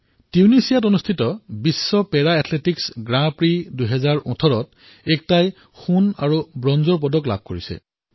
টুনিশ্বাত বিশ্ব পেৰা athletics grand prix ২০১৮ত একতাই সোণ আৰু ব্ৰঞ্জৰ মেডেল জয় কৰিছে